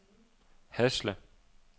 Hasle